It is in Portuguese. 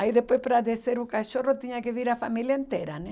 Aí depois para descer o cachorro tinha que vir a família inteira, né?